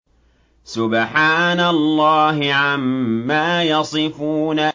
سُبْحَانَ اللَّهِ عَمَّا يَصِفُونَ